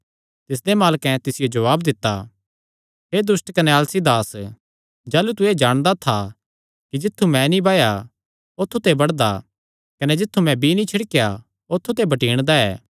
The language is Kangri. तिसदे मालकैं तिसियो जवाब दित्ता हे दुष्ट कने आलसी दास जाह़लू तू एह़ जाणदा था कि जित्थु मैं नीं बाया औत्थू ते बड्डदा कने जित्थु मैं बीई नीं छिड़केया औत्थू ते बटीणदा ऐ